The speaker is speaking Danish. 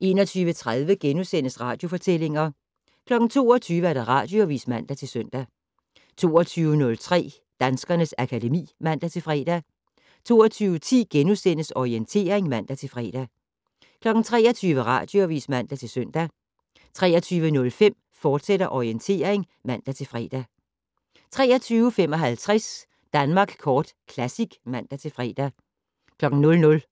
21:30: Radiofortællinger * 22:00: Radioavis (man-søn) 22:03: Danskernes akademi (man-fre) 22:10: Orientering *(man-fre) 23:00: Radioavis (man-søn) 23:05: Orientering, fortsat (man-fre) 23:55: Danmark Kort Classic (man-fre) 00:00: